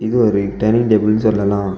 இது ஒரு டைனிங் டேபிள்னு சொல்லலாம்.